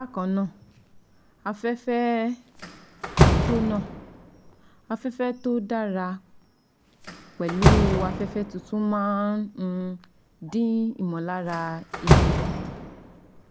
Bákan náà, afẹ́fẹ́ tó náà, afẹ́fẹ́ tó dára pẹ̀lú afẹ́fẹ́ tuntun máa ń um dín ìmọ̀lára eebi kù